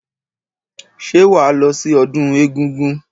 Ṣé wàá lọ sí ọdún egúngún?